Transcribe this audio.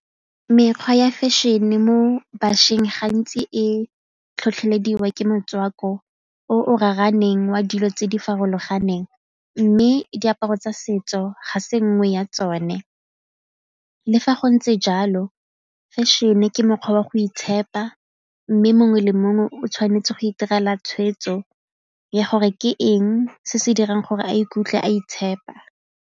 Mekgwa ya fashion-e mo bašweng gantsi e tlhotlhelediwa ke motswako o o raraneng wa dilo tse di farologaneng mme diaparo tsa setso ga se nngwe ya tsone. Le fa go ntse jalo fashion-e ke mokgwa wa go itshepa mme mongwe le mongwe o tshwanetse go itirela tshweetso ya gore ke eng se se dirang gore a ikutlwe a itshepa.